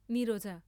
Knee.